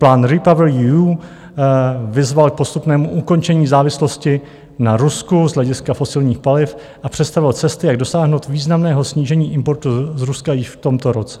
Plán REPower EU vyzval k postupnému ukončení závislosti na Rusku z hlediska fosilních paliv a představil cesty, jak dosáhnout významného snížení importu z Ruska již v tomto roce.